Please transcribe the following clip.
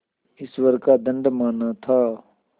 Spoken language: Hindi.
ईश्वर का दंड माना था